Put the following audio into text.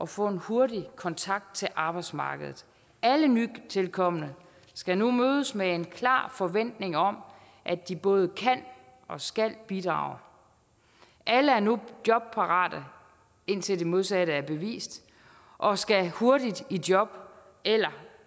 få en hurtig kontakt til arbejdsmarkedet alle nytilkomne skal nu mødes med en klar forventning om at de både kan og skal bidrage alle er nu jobparate indtil det modsatte er bevist og skal hurtigt i job eller